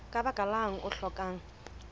ka baka lang o hlokang